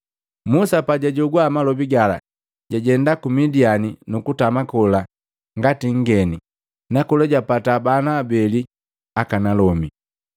Musa pajajogwa malobi gala, jajenda ku Midiani nukutama kola ngati nngeni nakola japataa bana abeli akanalomi.”